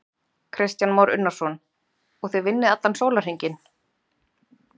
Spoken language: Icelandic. Kristján Már Unnarsson: Og þið vinnið allan sólarhringinn?